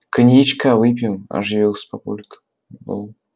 коньячка выпьем оживился папулька